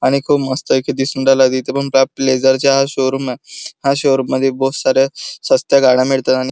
आणि खूप मस्त पैकी दिसून राहिलाय इथ पण हा लेझर च्या शोरूम आहे ह्या शोरूम मध्ये बहुत साऱ्या सस्त्या गाड्या मिळतात आणि--